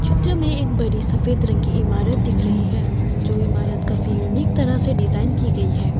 चित्र में एक बड़ी सफेद रंग की इमारत दिख रही है जो इमारत काफी यूनिक तरह से डिजाइन की गई है।